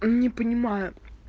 не понимаю